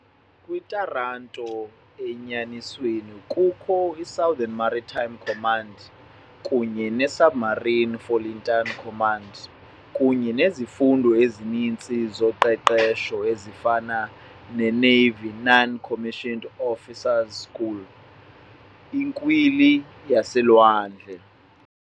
Kwi-Taranto, enyanisweni, kukho i- Southern Maritime Command kunye ne- Submarine Flotilla Command, kunye nezifundo ezininzi zoqeqesho ezifana ne- Navy Non-Commissioned Officers School, iNkwili yaselwandle.